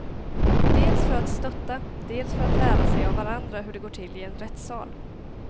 Dels för att stötta, dels för att lära sig av varandra hur det går till i en rättssal.